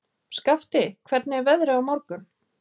Skafti, hvernig er veðrið á morgun?